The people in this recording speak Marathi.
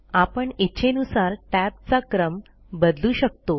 आपण इच्छेनुसार टॅबचा क्रम बदलू शकतो